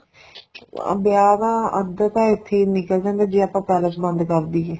ਵਿਆਹ ਦਾ ਅੱਧ ਤਾਂ ਇੱਥੇ ਈ ਨਿਕਲ ਜਾਂਦਾ ਜੇ ਆਪਾਂ palace ਬੰਦ ਕਰ ਦਈਏ